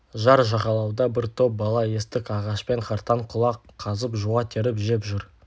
жар жағалауда бір топ бала істік ағашпен қартаң-құлақ қазып жуа теріп жеп жүр